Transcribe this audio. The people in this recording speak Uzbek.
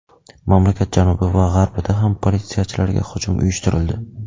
Mamlakat janubi va g‘arbida ham politsiyachilarga hujum uyushtirildi.